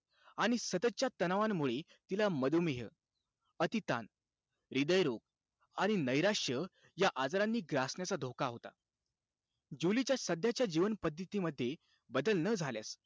आणि सततच्या तणावांमुळे तिला मधुमेह, अतिताण, हृदयरोग आणि नैराश्य या आजारांनी ग्रासण्याचा धोका होता. जुलीच्या सध्याच्या जीवनपद्धतीमध्ये बदल न झाल्यास,